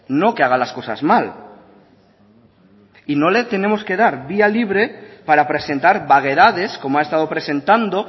no que haga las cosas mal y no le tenemos que dar vía libre para presentar vaguedades como ha estado presentando